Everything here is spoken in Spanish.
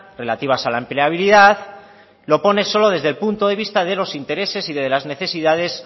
relativas a la empleabilidad lo pone solo desde el punto de vista de los intereses y de las necesidades